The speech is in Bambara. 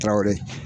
Tɛwo ye